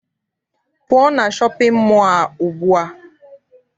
Pụọ na shọpịn mọọ a ugbua!